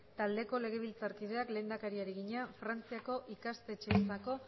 taldeko legebiltzarkideak lehendakari egina frantziako ikasteentzako